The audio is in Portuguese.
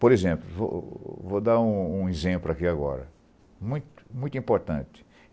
Por exemplo, vou vou dar um um exemplo aqui agora, muito muito importante.